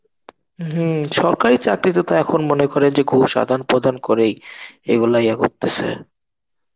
হমম সরকারি চাকরিতে তো তা এখন মনে করে যে খুব সাধারণ প্রদান করেই. এগুলাই করতেছে.